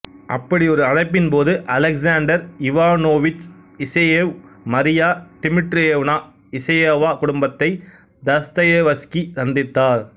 அப்படியொரு அழைப்பின்போது Alexander Ivanovich Isayev Maria Dmitrievna Isayeva குடும்பத்தை Dostoevsky சந்தித்தார்